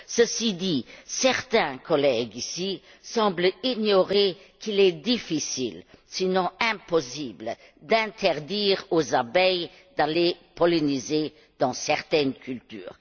Cela dit, certains collègues semblent ignorer qu'il est difficile sinon impossible d'interdire aux abeilles d'aller polliniser dans certaines cultures.